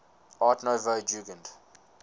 art nouveau jugend